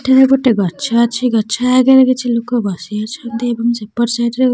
ଏଠାରେ ଗୋଟେ ଗଛ ଅଛି ଗଛ ଆଗରେ କିଛି ଲୋକ ବସି ଅଛନ୍ତି ଏବଂ ସେପଟ ସାଇଡ୍ ରେ --